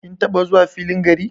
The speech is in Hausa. Kin taba zuwa filin gari?